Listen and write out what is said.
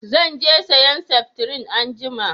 Zan je sayan sefitirin anjima